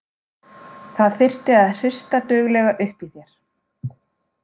Það þyrfti að hrista duglega upp í þér.